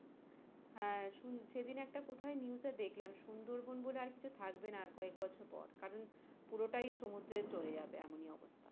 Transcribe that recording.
হ্যাঁ সেদিনে একটা কোথায় news এ দেখলাম সুন্দর বোন বলে আর কিছু থাকবে না আর কয়েক বছর পর কারন পুরোটাই সমুদ্রে চলে যাবে এমনই অবস্থা।